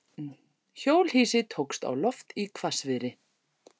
Hjólhýsi tókst á loft í hvassviðri